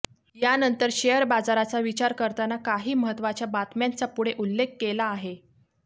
यानंतर शेअरबाजाराचा विचार करताना काही महत्त्वाच्या बातम्यांचा पुढे उल्लेख केला आहे